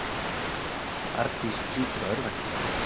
Arndís hlýtur að örvænta.